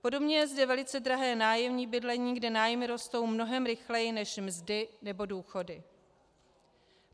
Podobně je zde velice drahé nájemní bydlení, kde nájmy rostou mnohem rychleji než mzdy nebo důchody.